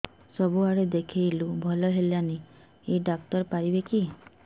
ସବୁଆଡେ ଦେଖେଇଲୁ ଭଲ ହେଲାନି ଏଇ ଡ଼ାକ୍ତର ପାରିବେ କି